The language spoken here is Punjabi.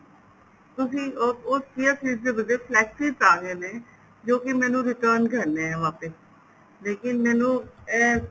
ਤੁਸੀਂ ਉਸ chia seeds ਦੇ ਬਦਲੇ flex seeds ਆ ਗਏ ਨੇ ਜੋ ਮੈਨੂੰ return ਕਰਨੇ ਏ ਵਾਪਿਸ ਲੇਕਿਨ ਮੈਨੂੰ ਇਹ